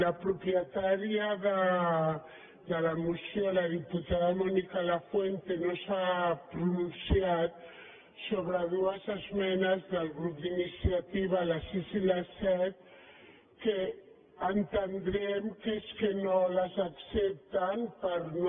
la propietària de la moció la diputada mònica lafuente no s’ha pronunciat sobre dues esmenes del grup d’iniciativa la sis i la set que entendrem que és que no les accepten per no